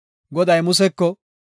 Goday Museko,